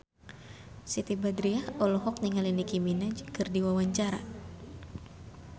Siti Badriah olohok ningali Nicky Minaj keur diwawancara